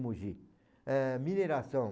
Mogi. Ah, mineração.